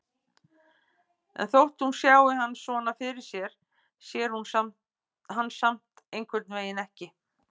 En þótt hún sjái hann svona fyrir sér sér hún hann samt einhvernveginn ekki.